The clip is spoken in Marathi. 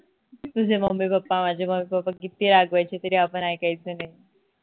तुझे mummy, papa माझे mummy, papa किती रागवायचे तरी आपण ऐकायचो नाही